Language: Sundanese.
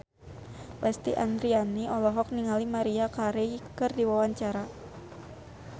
Lesti Andryani olohok ningali Maria Carey keur diwawancara